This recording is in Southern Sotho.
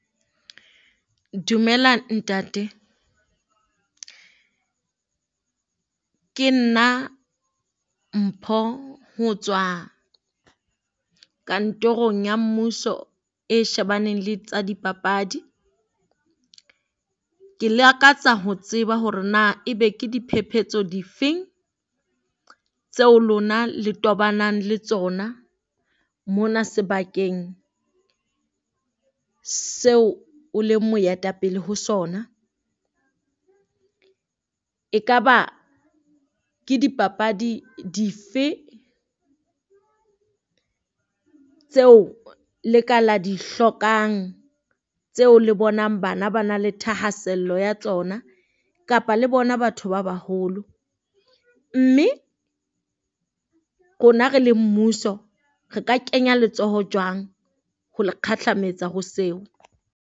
Dumela ntate. Ke nna Mpho ho tswa kantorong ya mmuso e shebaneng le tsa dipapadi. Ke lakatsa ho tseba hore na ebe ke diphephetso difeng tseo lona le tobanang le tsona, mona sebakeng seo o le moetapele ho sona. Ekaba ke dipapadi dife tseo leka la di hlokang tseo le bonang bana ba na le thahasello ya tsona kapa le bona batho ba baholo? Mme rona re le mmuso re ka kenya letsoho jwang ho le kgahlametsa kgo seo?